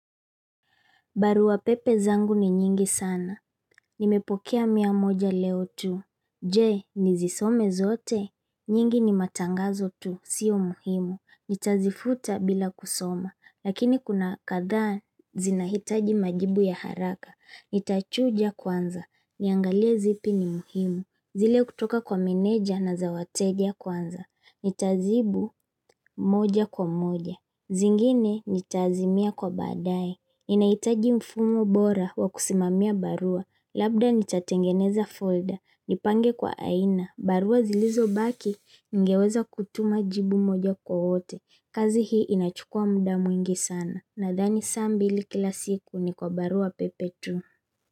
Barua pepe zangu ni nyingi sana. Nimepokea mia moja leo tu. Je, nizisome zote? Nyingi ni matangazo tu. Sio muhimu. Nitazifuta bila kusoma. Lakini kuna kadhaa zinahitaji majibu ya haraka. Nitachuja kwanza. Niangalie zipi ni muhimu. Zile kutoka kwa meneja na za wateja kwanza. Nitajibu moja kwa moja. Zingine nitazimia kwa baadaye. Ninahitaji mfumo bora wa kusimamia barua. Labda nitatengeneza folder. Nipange kwa aina. Barua zilizobaki ningeweza kutuma jibu moja kwa wote. Kazi hii inachukua muda mwingi sana. Nadhani saa mbili kila siku ni kwa barua pepe tu.